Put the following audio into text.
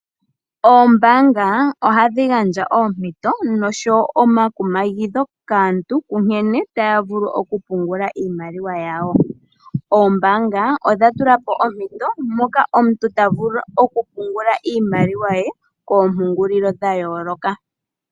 Ombaanga ohadhi gandja oompito noshowo omakumagidho kaantu nkene taya vulu oku pungula iimaliwa yawo. Oombanga odha tulapo ompito mpoka omuntu tavulu oku pungula iimaliwa ye koompungulio dha yooloka